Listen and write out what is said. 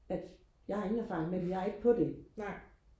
at jeg har ingen erfaring med det jeg er ikke på det